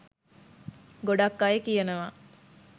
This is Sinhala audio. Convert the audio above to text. ගොඩක් අය කියනවා